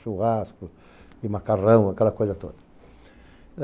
Churrasco e macarrão, aquela coisa toda.